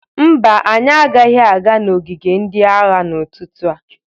Mba, anyị agaghị aga n'ogige ndị agha n'ụtụtụ a..